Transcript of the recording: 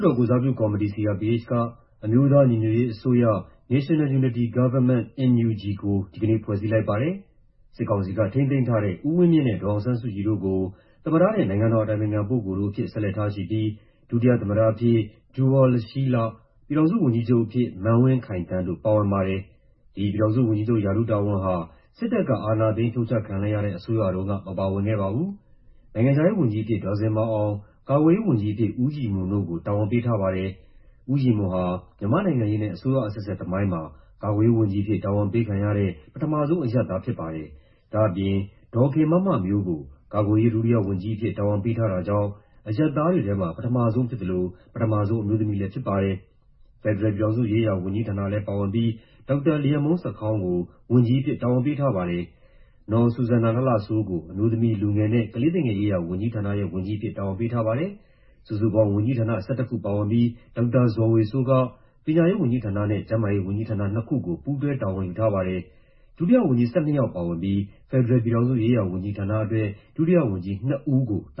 တော် ကိုယ်စားပြုကော်မတီ (CRPH) က အမျိုးသားညီညွတ်ရေးအစိုးရ (National Unity Government-NUG) ဆိုတာကို ဒီကနေ့ ဖွဲ့စည်းလိုက်ပါတယ်။ အစိုးရအဖွဲ့ရဲ့သမ္မတအဖြစ် လက်ရှိမှာ စစ်ကောင်စီက ထိန်းသိမ်းထားတဲ့ သမ္မတဦးဝင်းမြင့်၊ နိုင်ငံတော်အတိုင်ပင်ခံပုဂ္ဂိုလ်အဖြစ် ဒေါ်အောင်ဆန်းစုကြည်၊ ဒုတိယသမ္မတအဖြစ် ဒူဝါလရှီးလတို့အပြင် ပြည်ထောင်စုဝန်ကြီးချုပ်အဖြစ် မန်းဝင်းခိုင်သန်းတို့ ပါဝင်ပါတယ်။ ဒီ ပြည်ထောင်စုဝန်ကြီးချုပ် ရာထူးတာဝန်ဟာ စစ်တပ်က အာဏာသိမ်းဖြုတ်ချခံလိုက်ရတဲ့ အစိုးရတုံးက မပါဝင်ခဲ့ပါဘူး။ နိုင်ငံခြားရေးဝန်ကြီးအဖြစ် ဒေါ်ဇင်မာအောင်၊ ကာကွယ်ရေးဝန်ကြီးအဖြစ် ဦးရည်မွန်တို့ကို တာဝန်ပေးထားပါတယ်။ ဦးရည်မွန်ဟာ မြန်မာ့နိုင်ငံရေးနဲ့ အစိုးရအဆက်ဆက်သမိုင်းမှာ ကာကွယ်ရေးဝန်ကြီးအဖြစ် တာဝန်ပေးခံရတဲ့ ပထမဆုံးအရပ်သားဖြစ်ပါတယ်။ ဒါ့အပြင် ဒေါ်ခင်မမမျိုးကို ကာကွယ်ရေး ဒုတိယဝန်ကြီးအဖြစ် တာဝန်ပေးထားတာကြောင့် အရပ်သားတွေထဲမှာ ပထမဆုံးဖြစ်သလို ပထမဆုံး အမျိုးသမီးလည်းဖြစ်ပါတယ်။ ဖက်ဒရယ်ပြည်ထောင်စုရေးရာဝန်ကြီးဌာနလည်း ပါဝင်ပြီး ဒေါက်တာလျန်မှုန်းဆာခေါင်းကို ဝန်ကြီးအဖြစ် တာဝန်ပေးထားပါတယ်။ နော်ဆူဇန်နာလှလှစိုးကို အမျိုးသမီး၊ လူငယ်နဲ့ ကလေးသူငယ်ရေးရာဝန်ကြီးဌာနရဲ့ ဝန်ကြီးအဖြစ် တာဝန်ပေးထားပါတယ်။ စုစုပေါင်းဝန်ကြီးဌာန ၁၁ ခုပါဝင်ပြီး ဒေါက်တာဇော်ဝေစိုးက ပညာရေးဝန်ကြီးဌာနနဲ့ ကျန်းမာရေးဝန်ကြီးဌာန နှစ်ခုကို ပူးတွဲတာဝန်ယူထားပါတယ်။ ဒုတိယဝန်ကြီး ၁၂ ယောက်ပါဝင်ပြီး ဖက်ဒရယ်ပြည်ထောင်စုရေးရာဝန်ကြီးဌာနအတွက် ဒုတိယဝန်ကြီးနှစ်ဦးကို တ